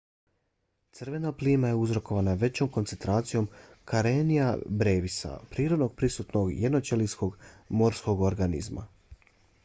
crvena plima je uzrokovana većom koncentracijom karenia brevis-a prirodno prisutnog jednoćelijskog morskog organizma